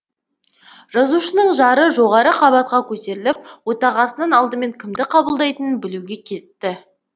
жазушының жары жоғары қабатқа көтеріліп отағасынан алдымен кімді қабылдайтынын білуге кетті